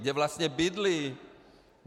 Kde vlastně bydlí?